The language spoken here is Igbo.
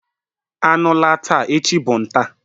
Anu laa taa, echi bu nta..